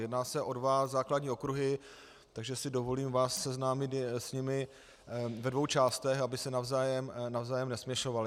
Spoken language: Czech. Jedná se o dva základní okruhy, takže si dovolím vás seznámit s nimi ve dvou částech, aby se navzájem nesměšovaly.